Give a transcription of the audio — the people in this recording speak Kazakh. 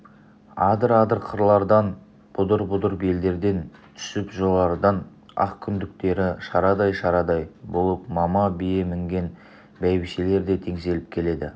адыр-адыр қырлардан бұдыр-бұдыр белдерден түсіп жоғарыдан ақ күндіктері шарадай-шарадай болып мама бие мінген бәйбішелер де теңселіп келеді